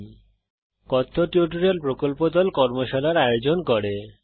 কথ্য টিউটোরিয়াল প্রকল্প দল কথ্য টিউটোরিয়াল ব্যবহার করে কর্মশালার আয়োজন করে